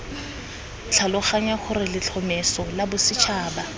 tlhaloganya gore letlhomeso la bosetšhaba